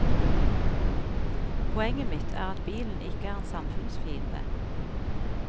Poenget mitt er at bilen ikke er en samfunnsfiende.